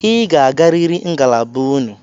Ị ga-agarịrị ngalaba unu!